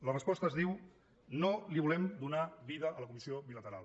la resposta es diu no volem donar vida a la comissió bilateral